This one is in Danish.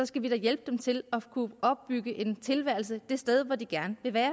skal vi da hjælpe dem til at kunne opbygge en tilværelse det sted hvor de gerne vil være